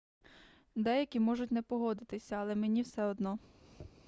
деякі можуть не погодитися але мені все одно